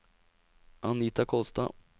Anita Kolstad